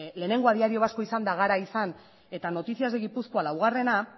lehenengoa diario vasco izanda gara izan eta noticias de guipuzcoa laugarrena